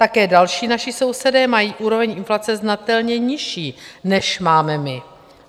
Také další naši sousedé mají úroveň inflace znatelně nižší, než máme my.